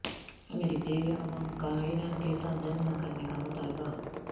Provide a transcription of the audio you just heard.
امریکی عوام کا ایران کے ساتھ جنگ نہ کرنے کا مطالبہ